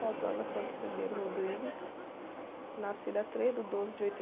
nascida três do doze de